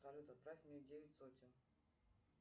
салют отправь мне девять сотен